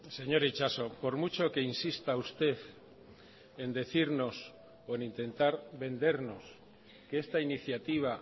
señor itxaso por mucho que insista usted en decirnos o en intentar vendernos que esta iniciativa